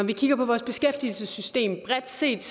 vi kigger på vores beskæftigelsessystem bredt set